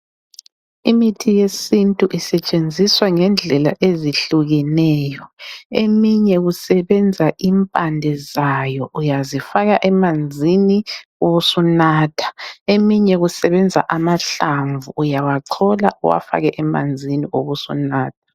Imithi yesintu isetshenziswa ngendlela ezihlukeneyo. Eminye kusebenza impande zayo, uyazifaka emanzini ubusunatha. Eminye kusebenza amahlamvu. Uyawachola uwafake emanzini ubusunatha.